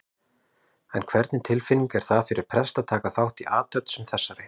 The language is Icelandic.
En hvernig tilfinning er það fyrir prest að taka þátt í athöfn sem þessari?